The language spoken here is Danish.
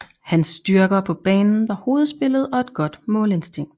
Hans styrker på banen var hovedspillet og et godt målinstinkt